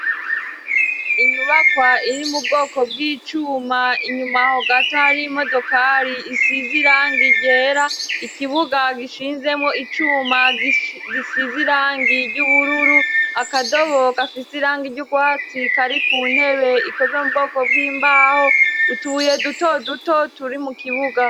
Inyubakwa iri mu bwoko bw'icuma inyuma aho gato hari imodokari isize irangi ryera, ikibuga gishinzemwo icuma gisize irangi ry'ubururu, akadobo gafise irangi ry'urwatsi kari ku ntebe ikozwe mu bwoko bw'imbaho, utubuye duto duto turi mu kibuga.